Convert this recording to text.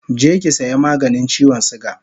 Je ki saya maganin chiwon suga